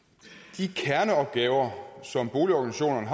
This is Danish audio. de kerneopgaver som boligorganisationerne